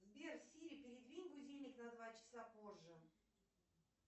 сбер сири передвинь будильник на два часа позже